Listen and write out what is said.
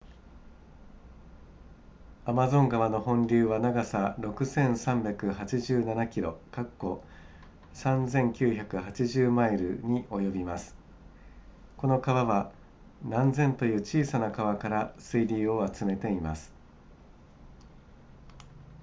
アマゾン川の本流は長さ 6,387 km3,980 マイルに及びますこの川は何千という小さな川から水流を集めています